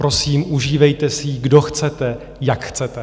Prosím, užívejte si ji, kdo chcete, jak chcete!